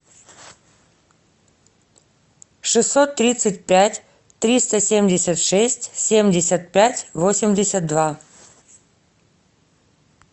шестьсот тридцать пять триста семьдесят шесть семьдесят пять восемьдесят два